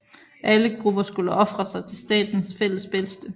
Alle grupper skulle ofre sig til statens fælles bedste